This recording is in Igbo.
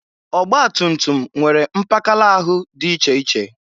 Ọgbatumtum nwere mpakala ahụ dị iche iche.